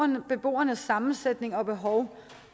med beboernes sammensætning og behov